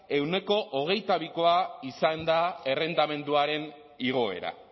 ehuneko hogeita bikoa izan da errentamenduaren igoera